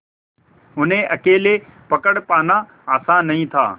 उन्हें अकेले पकड़ पाना आसान नहीं था